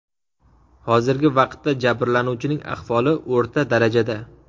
Hozirgi vaqtda jabirlanuvchining ahvoli o‘rta darajada.